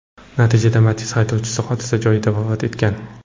Natijada Matiz haydovchisi hodisa joyida vafot etgan.